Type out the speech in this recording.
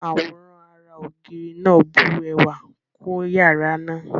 Àwòrán ará-ògiri náà bu ẹwà kún yàrá náà.